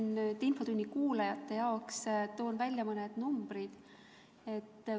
Ma toon infotunni kuulajate jaoks välja mõned numbrid.